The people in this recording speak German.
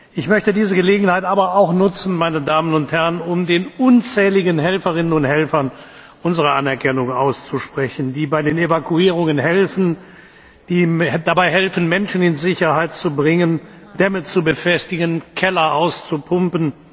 Ich möchte diese Gelegenheit aber auch nutzen, um den unzähligen Helferinnen und Helfern unsere Anerkennung auszusprechen, die bei den Evakuierungen helfen, die dabei helfen, Menschen in Sicherheit zu bringen, Dämme zu befestigen und Keller auszupumpen.